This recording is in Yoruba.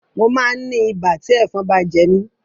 Mo máa ń ní ibà tí ẹ̀fọn bá jẹ mí.